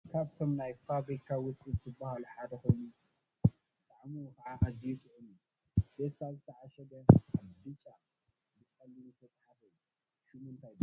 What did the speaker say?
ካብቶም ነይ ፋብሪካ ውፅኢት ዝብሃሉ ሓደ ኮይኑ ጣዕሙ ከዓ ኢዝዩ ጥዑም እዩ። በፌስተል ዝተ ዓሸገ ኣብ ቡጫ ብፀሊም ዝተፅሓፈሉ እዩ። ሽሙ እንታይ ይብሃል?